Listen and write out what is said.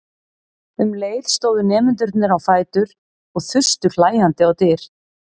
Um leið stóðu nemendurnir á fætur og þustu hlæjandi á dyr.